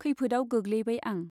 खैफोदआव गोग्लैबाय आं।